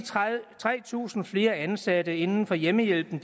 tre tusind flere ansatte inden for hjemmehjælpen